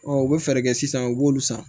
u bɛ fɛɛrɛ kɛ sisan u b'olu san